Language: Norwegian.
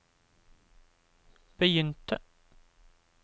begynte